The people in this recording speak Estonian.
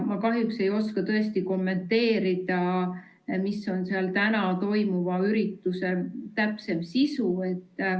Ma kahjuks ei oska tõesti kommenteerida seda, milline on seal täna toimuva ürituse täpsem sisu.